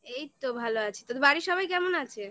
এই তো ভালো আছি তোদের বাড়ির সবাই কেমন আছে?